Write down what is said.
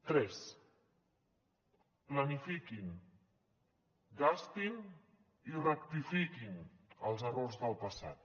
tres planifiquin gastin i rectifiquin els errors del passat